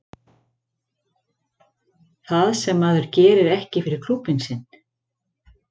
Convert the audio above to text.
Það sem að maður gerir ekki fyrir klúbbinn sinn.